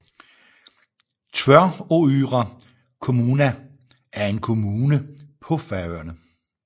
Tvøroyrar kommuna er en kommune på Færøerne